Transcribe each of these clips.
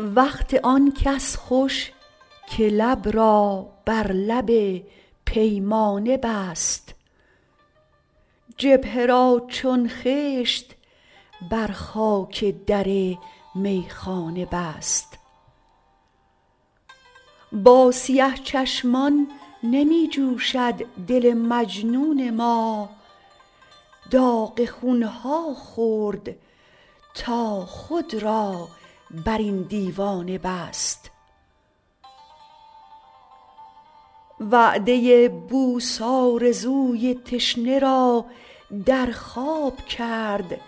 وقت آن کس خوش که لب را بر لب پیمانه بست جبهه را چون خشت بر خاک در میخانه بست با سیه چشمان نمی جوشد دل مجنون ما داغ خونها خورد تا خود را بر این دیوانه بست وعده بوس آرزوی تشنه را در خواب کرد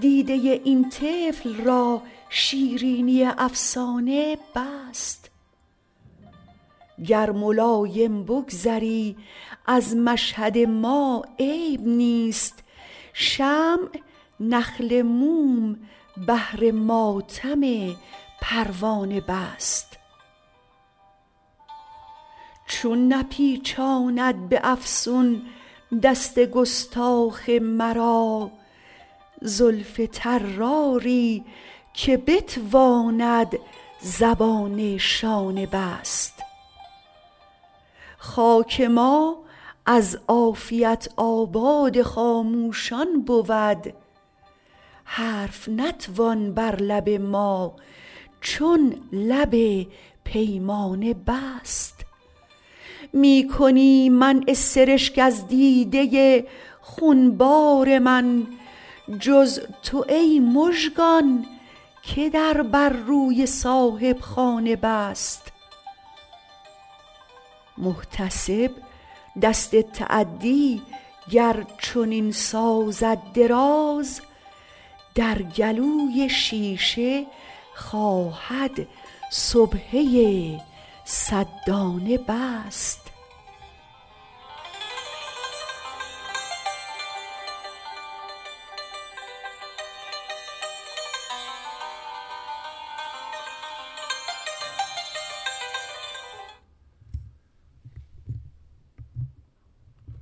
دیده این طفل را شیرینی افسانه بست گر ملایم بگذری از مشهد ما عیب نیست شمع نخل موم بهر ماتم پروانه نیست چون نپیچاند به افسون دست گستاخ مرا زلف طراری که بتواند زبان شانه نیست خاک ما از عافیت آباد خاموشان بود حرف نتوان بر لب ما چون لب پیمانه بست می کنی منع سرشک از دیده خونبار من جز تو ای مژگان که در بر روی صاحبخانه بست محتسب دست تعدی گر چنین سازد دراز در گلوی شیشه خواهد سبحه صد دانه بست